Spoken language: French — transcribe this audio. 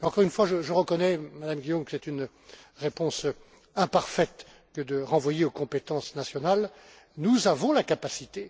Encore une fois, je reconnais, Madame Guillaume, que c'est une réponse imparfaite que de renvoyer aux compétences nationales. Nous avons la capacité...